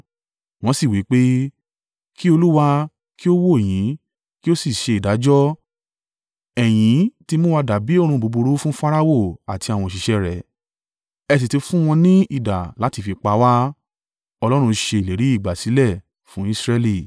Wọn sì wí pé, “Kí Olúwa kí ó wò yín, kí ó sì ṣe ìdájọ́! Ẹ̀yin ti mú wa dàbí òórùn búburú fún Farao àti àwọn òṣìṣẹ́ rẹ̀, ẹ sì ti fún wọn ni idà láti fi pa wá.”